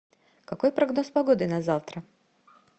какой прогноз погоды на завтра